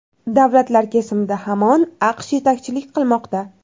Davlatlar kesimida hamon AQSh yetakchilik qilmoqda.